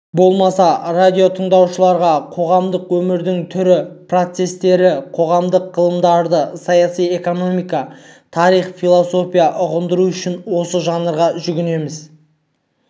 болмаса радиотыңдаушыларға қоғамдық өмірдің түрлі процестерін қоғамдық ғылымдарды саяси экономия тарих философияны ұғындыру үшін осы жанрға жүгінеміз